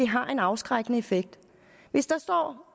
har en afskrækkende effekt hvis der står